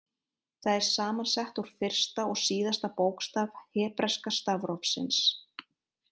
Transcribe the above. Það er saman sett úr fyrsta og síðasta bókstaf hebreska stafrófsins.